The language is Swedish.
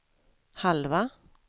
halva